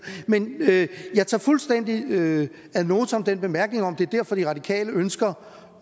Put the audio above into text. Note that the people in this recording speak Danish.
men jeg tager fuldstændig ad notam den bemærkning om at det er derfor de radikale ønsker